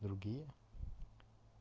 другие